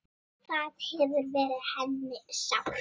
Það hefur verið henni sárt.